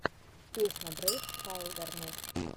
песня брейв вайлдернесс